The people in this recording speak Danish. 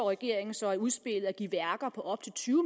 regeringen så i udspillet foreslår at give værker på op til tyve